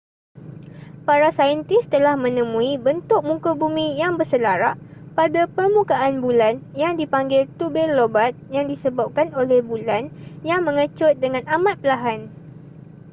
para saintis telah menemui bentuk muka bumi yang berselarak pada permukaan bulan yang dipanggil tubir lobat yang disebabkan oleh bulan yang mengecut dengan amat perlahan